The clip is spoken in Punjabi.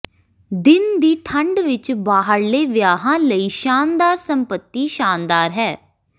ਦਿਨ ਦੀ ਠੰਢ ਵਿਚ ਬਾਹਰਲੇ ਵਿਆਹਾਂ ਲਈ ਸ਼ਾਨਦਾਰ ਸੰਪਤੀ ਸ਼ਾਨਦਾਰ ਹੈ